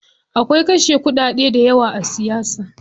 Akwai kashe kuɗade dayawa a siyasa.